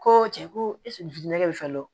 Ko cɛ ko ɛsike ne bɛ fɛn dɔ